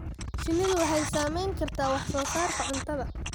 Shinnidu waxay saamayn kartaa wax soo saarka cuntada.